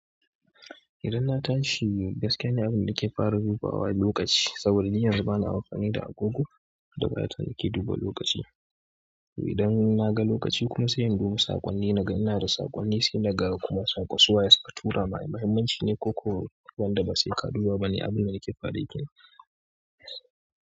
Idan na tashi gaskiya ni abin da nake fara dubawa lokaci saboda ni ina yawan amfani da agogo da gayan da ke duba lokaci. Idan na ga lokaci kuma sai in duba saƙonni naga ina da saƙonni, sai na ga kuma saƙo suwa ye suka tura min. Muhimmanci ne ko ko wanda ba sai ka duba ba ne abin da nake fara yi kenan.